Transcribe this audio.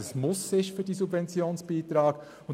Wir wollen, dass diese Subventionsbeiträge ein Muss sind.